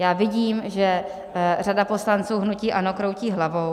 Já vidím, že řada poslanců hnutí ANO kroutí hlavou.